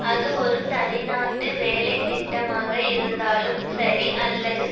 அது ஒரு தனிநாட்டு வேலைத்திட்டமாக இருந்தாலும் சரி அல்லது